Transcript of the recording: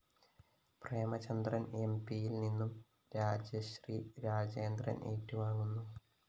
പ്രേമചന്ദ്രന്‍ എംപിയില്‍നിന്നും രാജശ്രീ രാജേന്ദ്രന്‍ ഏറ്റുവാങ്ങുന്നു